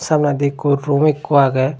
toledi ikko room ikko agey.